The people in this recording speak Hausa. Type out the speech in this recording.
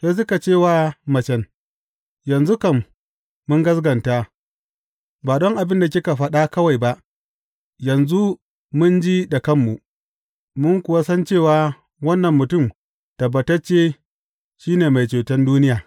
Sai suka ce wa macen, Yanzu kam mun gaskata, ba don abin da kika faɗa kawai ba; yanzu mun ji da kanmu, mun kuwa san cewa wannan mutum tabbatacce shi ne Mai Ceton duniya.